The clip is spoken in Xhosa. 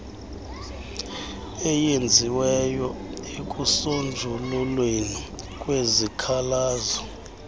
eyenziweyo ekusonjululweni kwesikhalazo